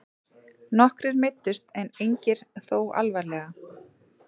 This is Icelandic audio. Nokkrir meiddust en engir þó alvarlega